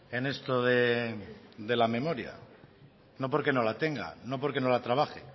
en esto de la memoria no porque no la tenga no porque no la trabaje